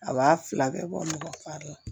A b'a fila bɛɛ bɔ nɔgɔ de la